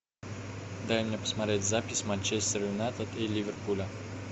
дай мне посмотреть запись манчестер юнайтед и ливерпуля